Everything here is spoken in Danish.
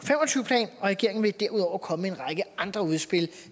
regeringen vil derudover komme med en række andre udspil